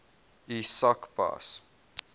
u sak pas